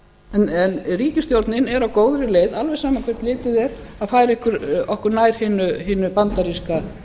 af en ríkisstjórnin er á góðri leið alveg sama hvert litið er að færa okkur nær hinu bandaríska